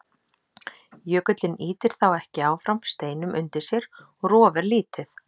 Jökullinn ýtir þá ekki áfram steinum undir sér og rof er lítið.